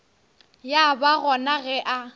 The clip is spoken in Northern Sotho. ya ba gona ge a